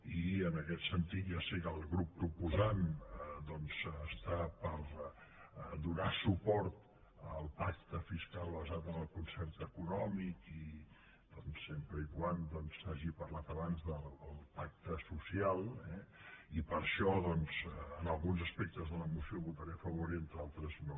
i en aquest sentit ja sé que el grup proposant doncs està per donar suport al pacte fiscal basat en el concert econòmic i sempre que s’hagi parlat abans del pacte social eh i per això en alguns aspectes de la moció votaré a favor i en altres no